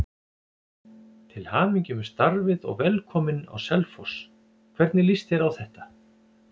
Til hamingju með starfið og velkominn á Selfoss, hvernig lýst þér á þetta?